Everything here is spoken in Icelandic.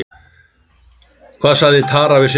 Hvað sagði Tara við Sindra?